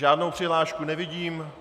Žádnou přihlášku nevidím.